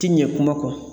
Ti ɲɛ kuma kɔ